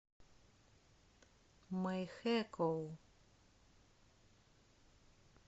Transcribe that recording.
мэйхэкоу